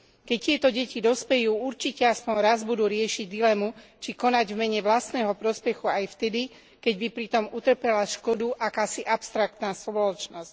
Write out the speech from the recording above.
Keď tieto deti dospejú určite aspoň raz budú riešiť dilemu, či konať v mene vlastného prospechu aj vtedy, keď by pritom utrpela škodu akási abstraktná spoločnosť.